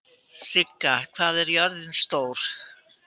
Sigga, hvað er jörðin stór?